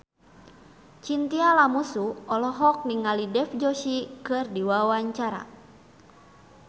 Chintya Lamusu olohok ningali Dev Joshi keur diwawancara